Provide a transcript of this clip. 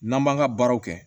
N'an b'an ka baaraw kɛ